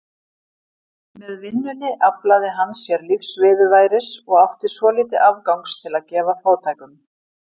Með vinnunni aflaði hann sér lífsviðurværis og átti svolítið afgangs til að gefa fátækum.